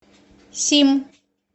сим